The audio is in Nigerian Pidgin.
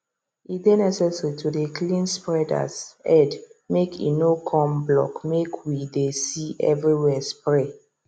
e dey necessary to dey clean spreaders headmake e no come blockmake we dey see everywhere spray